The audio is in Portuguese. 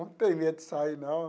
Não tenho medo de sair, não.